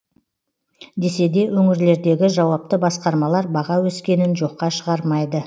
десе де өңірлердегі жауапты басқармалар баға өскенін жоққа шығармайды